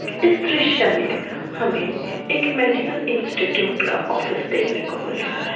इस द्रश्य में हमें एक मेडिकल इंस्टिट्यूट का ऑफिस देखने को मिल रहा है।